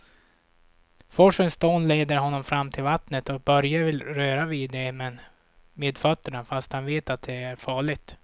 Forsens dån leder honom fram till vattnet och Börje vill röra vid det med fötterna, fast han vet att det är farligt.